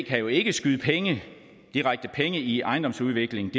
kan jo ikke skyde penge direkte i ejendomsudvikling